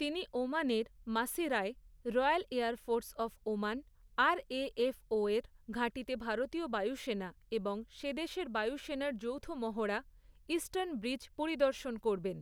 তিনি ওমানের মাসিরায়, royal air force of Oman, আর.এ.এফ.ওর ঘাঁটিতে ভারতীয় বায়ুসেনা এবং সে দেশের বায়ুসেনার যৌথ মহড়া, ইস্টার্ন ব্রিজ পরিদর্শন করবেন।